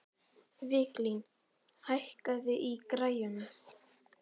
Viglín, hækkaðu í græjunum.